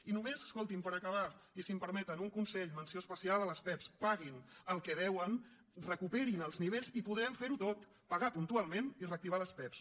i només escoltin me per acabar i si em permeten un consell menció especial a les pevs paguin el que deuen recuperin ne els nivells i podrem fer ho tot pagar puntualment i reactivar les pevs